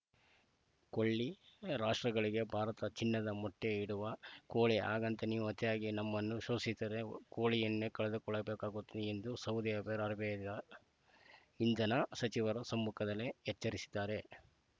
ಕೊಲ್ಲಿ ರಾಷ್ಟ್ರಗಳಿಗೆ ಭಾರತ ಚಿನ್ನದ ಮೊಟ್ಟೆಇಡುವ ಕೋಳಿ ಹಾಗಂತ ನೀವು ಅತಿಯಾಗಿ ನಮ್ಮನ್ನು ಶೋಷಿಸಿದರೆ ಕೋಳಿಯನ್ನೇ ಕಳೆದುಕೊಳ್ಳಬೇಕಾಗುತ್ತದೆ ಎಂದು ಸೌದಿ ಅಬೆರ ಅರ ಬಿ ನ ಇಂಧನ ಸಚಿವರ ಸಮ್ಮುಖದಲ್ಲೇ ಎಚ್ಚರಿಸಿದ್ದಾರೆ